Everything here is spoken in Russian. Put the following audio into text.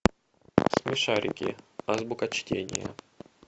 смешарики азбука чтения